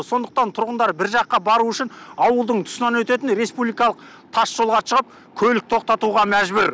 сондықтан тұрғындар бір жаққа бару үшін ауылдың тұсынан өтетін республикалық тасжолға шығып көлік тоқтатуға мәжбүр